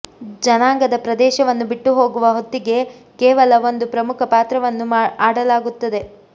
ಜನನಾಂಗದ ಪ್ರದೇಶವನ್ನು ಬಿಟ್ಟುಹೋಗುವ ಹೊತ್ತಿಗೆ ಕೇವಲ ಒಂದು ಪ್ರಮುಖ ಪಾತ್ರವನ್ನು ಆಡಲಾಗುತ್ತದೆ